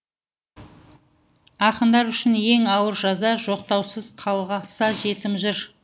ақындар үшін ең ауыр жаза жоқтаусыз қалса жетім жыр